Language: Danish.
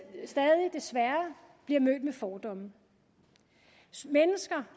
bliver mødt med fordomme mennesker